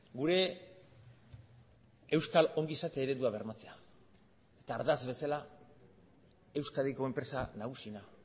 gure euskal ongizate eredua bermatzea eta ardatz bezala euskadiko enpresa nagusiena